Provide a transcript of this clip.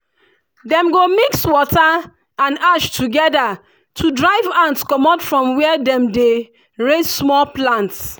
dem go mix water and ash together to drive ants comot from where dem dey raise small plants.